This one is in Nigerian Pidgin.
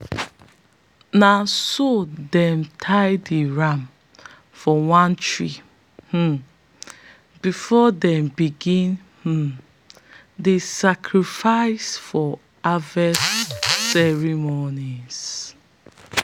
na so they tie the ram for one tree um before them begin um the sacrifice for harvest ceremony.